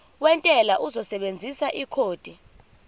wentela uzosebenzisa ikhodi